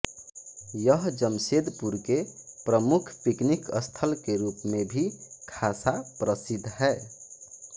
यह जमशेदपुर के प्रमुख पिकनिक स्थल के रूप में भी खासा प्रसिद्ध है